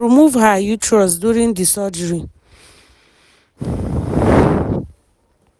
dem remove her uterus during the surgery.